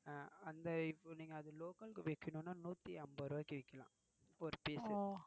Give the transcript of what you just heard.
அந்த இப்போ நீங்க அத local க்கு விக்கணும்னா நூத்தி ஐம்பது ரூபாய்க்கு விக்கலாம் ஒரு piece.